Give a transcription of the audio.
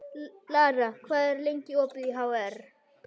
Lara, hvað er lengi opið í HR?